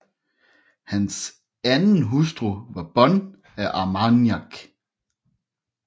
Hans anden hustru var Bonne af Armagnac